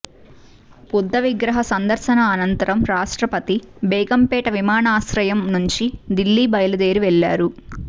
బుద్ధవిగ్రహ సందర్శన అనంతరం రాష్ట్రపతి బేగంపేట విమానాశ్రయం నుంచి ఢిల్లీ బయలుదేరి వెళ్లారు